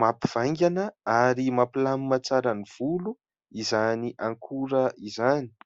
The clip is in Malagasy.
mampivaingana ary mampilamina tsara ny volo izany akora izany.